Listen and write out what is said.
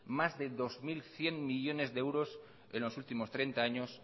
más de dos mil cien millónes de euros en los últimos treinta años